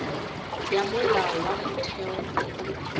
ya molao wa motheo e